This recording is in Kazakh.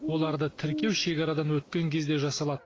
оларды тіркеу шекарадан өткен кезде жасалады